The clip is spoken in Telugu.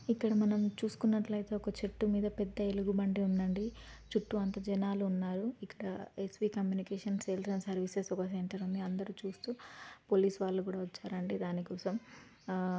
ఇక్కడ మనం చూసుకున్నట్లైతే ఒక చెట్టు మీద పెద్ద ఎలుగుబంటి ఉందండి చుట్టూ అంత జనాలు ఉన్నారు ఇక్కడ SV communication sales and service అని ఒక సెంటర్ ఉంది అందరూ చూస్తు పోలీస్ వాళ్ళు కూడా వచ్చారండి దానికోసం--